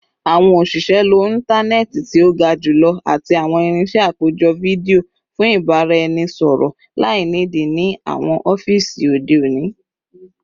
Awọn oṣiṣẹ lo intanẹẹti ti o ga julọ ati awọn irinṣẹ apejọ fidio fun ibaraẹnisọrọ lainidi ni awọn ọfiisi ode oni